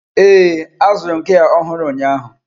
Ee, azụrụ m gia ọhụrụ ụnyaahụ.